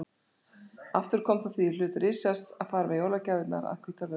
Aftur kom það því í hlut Richards að fara með jólagjafirnar að Hvítárvöllum.